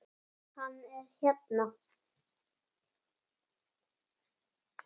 Hann er hérna.